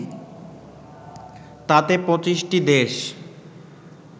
তাতে ২৫টি দেশ